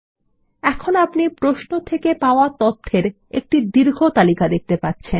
এখন আপনি প্রশ্ন থেকে পাওয়া তথ্যের একটি দীর্ঘ তালিকা দেখতে পাচ্ছেন